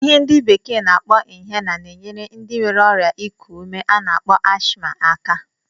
Ihe ndị bekee na-akpọ inhaler na-enyere ndị nwere ọrịa ịkụ ume a na-akpọ ashma aka.